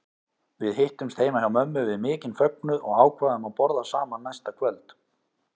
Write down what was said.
Við hittumst heima hjá mömmu við mikinn fögnuð og ákváðum að borða saman næsta kvöld.